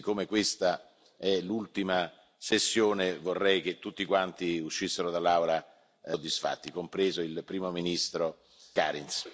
Siccome questa è l'ultima sessione vorrei che tutti quanti uscissero dall'Aula soddisfatti, compreso il Primo ministro Kariņš.